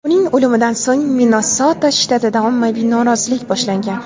Uning o‘limidan so‘ng Minnesota shtatida ommaviy norozilik boshlangan.